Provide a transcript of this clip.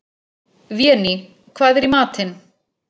Véný, hvað er í matinn?